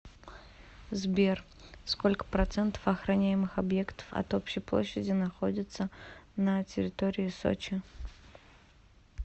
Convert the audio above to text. сбер сколько процентов охраняемых объектов от общей площади находится на территории сочи